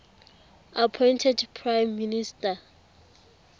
appointed prime minister